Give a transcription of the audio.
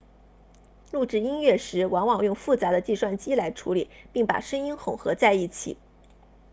录制音乐时往往用复杂的计算机来处理并把声音混合在一起